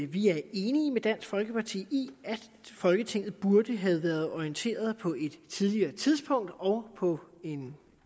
vi er enige med dansk folkeparti i at folketinget burde have været orienteret på et tidligere tidspunkt og på en